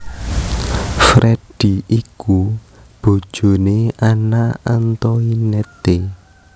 Freddy iku bojoné Anna Antoinette